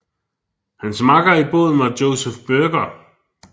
Hans makker i båden var Joseph Buerger